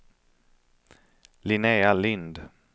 Linnéa Lindh